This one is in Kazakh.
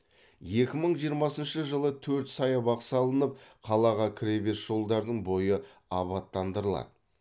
екі мың жиырмасыншы жылы төрт саябақ салынып қалаға кіре беріс жолдардың бойы абаттандырылады